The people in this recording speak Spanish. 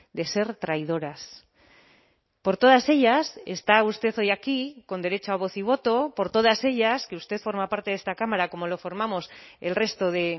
de ser traidoras por todas ellas está usted hoy aquí con derecho a voz y voto por todas ellas que usted forma parte de esta cámara como lo formamos el resto de